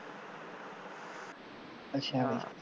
ਅੱਛਾ